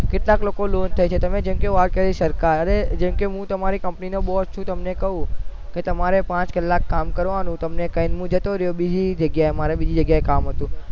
કેટલા લોકો થાય છે તમે જેમકે વાત કરી સરકાર કે જેમકે હું તમારી company boss નો છું હું તમને ક્યુ કે તમારે પાંચ કલાક કામ કરવાનું તમને કઈ હું જતો રહ્યો બીજી જગાએ મારે બીજી જગાયે કામ હતું